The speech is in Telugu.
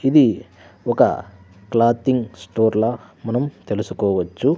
ఇది ఒక క్లాతింగ్ స్టోర్ లా మనం తెలుసుకోవచ్చు--